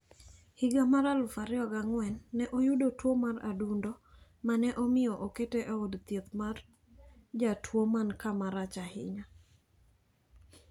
Higa mar aluf ariyo gi ang`wen, ne oyudo tuo mar adundo ma ne omiyo okete e od thieth mar jotuwo man kamarach ahinya.